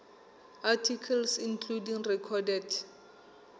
articles including recorded